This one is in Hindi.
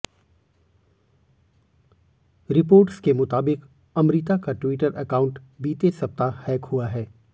रिपोर्ट्स के मुताबिक अमृता का ट्विटर अकाउंट बीते सप्ताह हैक हुआ है